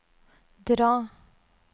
dra